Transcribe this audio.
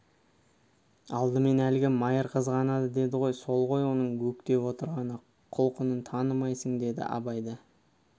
алдымен әлгі майыр қызғанады деді ғой сол ғой оның өктеп отырғаны құлқынын танымаймысың деді абай да